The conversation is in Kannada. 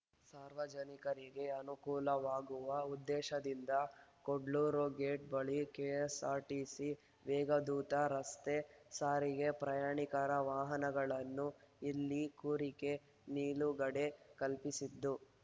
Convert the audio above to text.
ಸಾರ್ವಜನಿಕರಿಗೆ ಅನುಕೂಲವಾಗುವ ಉದ್ದೇಶದಿಂದ ಕುಡ್ಲೂರು ಗೇಟ್‌ ಬಳಿ ಕೆಎಸ್‌ಆರ್‌ಟಿಸಿ ವೇಗದೂತ ರಸ್ತೆ ಸಾರಿಗೆ ಪ್ರಯಾಣಿಕರ ವಾಹನಗಳುನ್ನು ಇಲ್ಲಿ ಕೋರಿಕೆ ನಿಲುಗಡೆ ಕಲ್ಪಿಸಿದ್ದು